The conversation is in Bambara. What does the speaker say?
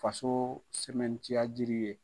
Fasoo sɛmɛntiya jiri ye